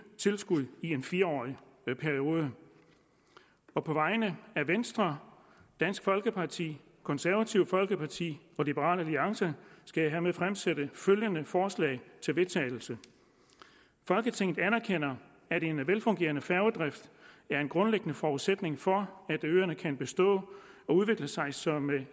tilskud i en fire årig periode på på vegne af venstre dansk folkeparti det konservative folkeparti og liberal alliance skal jeg hermed fremsætte følgende forslag til vedtagelse folketinget anerkender at en velfungerende færgedrift er en grundlæggende forudsætning for at øerne kan bestå og udvikle sig som